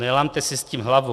"Nelamte si s tím hlavu.